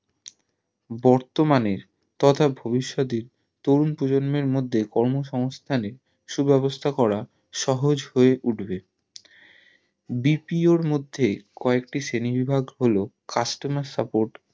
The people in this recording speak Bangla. বর্তমানের তথা তরুণ প্রজন্মের মধ্যে কর্ম সংস্থানের সু ব্যবস্থা করা সহজ হয় উঠবে BPO র মধ্যে কয়েকটি শ্রেণী বিভাগ হলো Customer Support